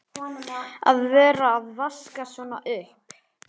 Að vera að vaska svona upp!